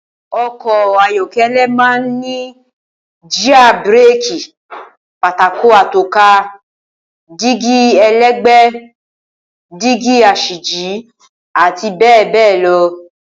O̩kò̩ ayó̩ké̩lé̩ máa ń ní jíà, bíréèkì, pátákó ató̩ka, dígí e̩lé̩gbè̩é̩, dígí as̩íjì, àti bé̩è̩ béè̩ lo̩